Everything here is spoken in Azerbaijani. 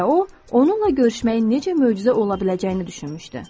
Və o, onunla görüşməyin necə möcüzə ola biləcəyini düşünmüşdü.